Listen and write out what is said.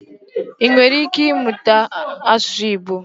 I nwere ike ịmụ asụsụ Igbo?